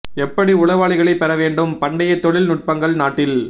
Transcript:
எப்படி உளவாளிகளை பெற வேண்டும் பண்டைய தொழில் நுட்பங்கள் நாட்டில்